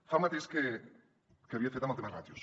fa el mateix que havia fet amb el tema de ràtios